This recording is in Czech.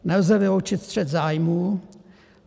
Nelze vyloučit střet zájmů.